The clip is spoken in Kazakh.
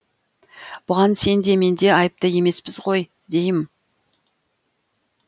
бұған сен де мен де айыпты емеспіз ғой дейім